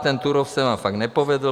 Ten Turów se vám fakt nepovedl.